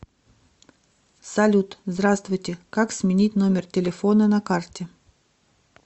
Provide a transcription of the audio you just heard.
салют здравствуйте как сменить номер телефона на карте